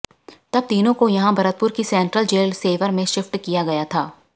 तब तीनों को यहां भरतपुर की सेंट्रल जेल सेवर में शिफ्ट किया गया था